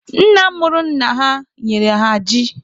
Nna mụrụ nna ha nyere ha ji.